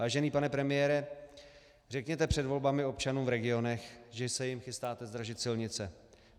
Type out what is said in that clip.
Vážený pane premiére, řekněte před volbami občanům v regionech, že se jim chystáte zdražit silnice.